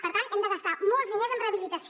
per tant hem de gastar molts diners en rehabilitació